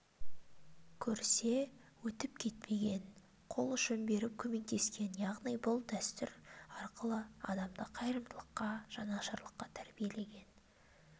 көрсе өтіп кетпеген қол ұшын беріп көмектескен яғни бұл дәстүр арқылы адамды қайырымдылыққа жанашырлыққа тәрбиелеген